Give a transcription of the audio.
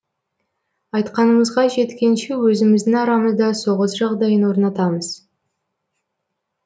айтқанымызға жеткенше өзіміздің арамызда соғыс жағдайын орнатамыз